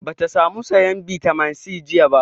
Ba ta sa mu sayan bitamin C jiya ba